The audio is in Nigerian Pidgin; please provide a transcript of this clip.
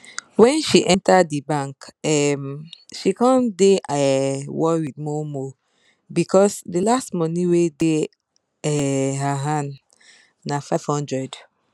wen she enter di bank um she come dey um worried moremore becos di last money wey dey um her hand na five hundred